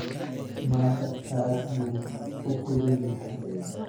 Maanta aad buu u kulul yahay